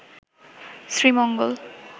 Sreemangal